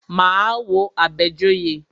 Máa wo Àbẹ̀joyè.